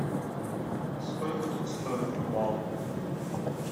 сколько тут стоит рыбалка